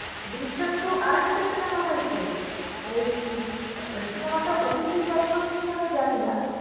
Drishyam two আর একটা সিনেমা হয়েছে ওই সিনেমাটা OTT platform এ কিনা জানিনা